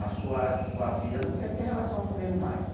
A sua sua filha não quer ter relação comigo mais.